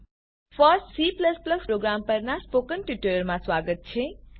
first C program પરનાં spoken ટ્યુટોરીયલમાં સ્વાગત છે